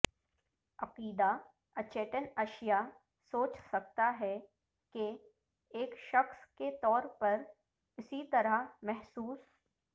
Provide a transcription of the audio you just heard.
عقیدہ اچیتن اشیاء سوچ سکتا ہے کہ ایک شخص کے طور پر اسی طرح محسوس